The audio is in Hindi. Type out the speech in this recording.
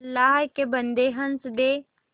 अल्लाह के बन्दे हंस दे